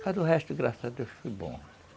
Mas o resto, graças a Deus, foi bom.